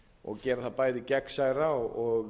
og gera það bæði gegnsærra og